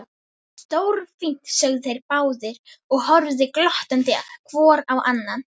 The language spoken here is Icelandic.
Stórfínt sögðu þeir báðir og horfðu glottandi hvor á annan.